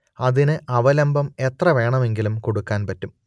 അതിന് അവലംബം എത്ര വേണമെങ്കിലും കൊടുക്കാൻ പറ്റും